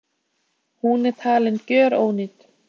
Hún er talin gjörónýt